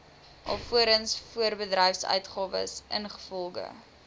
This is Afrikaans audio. alvorens voorbedryfsuitgawes ingevolge